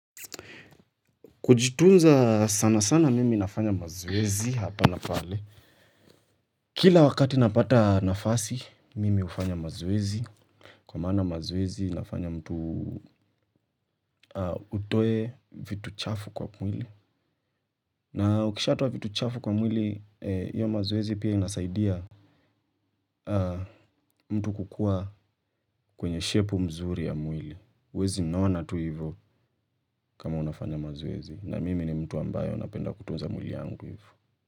Kujitunza sana sana mimi nafanya mazoezi hapa na pale. Kila wakati napata nafasi, mimi ufanya mazwezi. Kwa maana mazoezi inafanya mtu utoe vitu chafu kwa mwili. Na ukishaatoa vitu chafu kwa mwili, hiyo mazoezi pia inasaidia mtu kukuwa kwenye shepu mzuri ya mwili. Wezi nona tu hivyo kama unafanya mazoezi. Na mimi ni mtu ambayo napenda kutunza mwili angu hivyo.